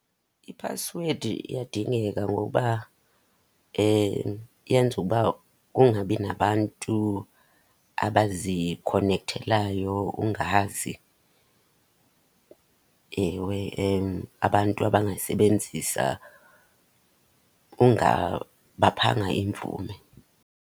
Iphasiwedi iyadingeka ngokuba yenza ukuba kungabi nabantu abazikhonekthelayo ungazi. Ewe, abantu abangayisebenzisa ungabaphanga imvume.